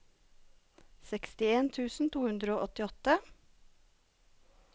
sekstien tusen to hundre og åttiåtte